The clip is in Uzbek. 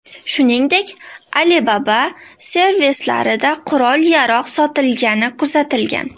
Shuningdek, Alibaba servislarida qurol-yarog‘ sotilgani kuzatilgan.